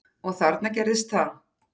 Og þarna gerðist það.